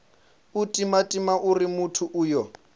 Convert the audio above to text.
u timatima uri muthu uyo